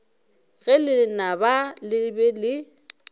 ge lenaba le be le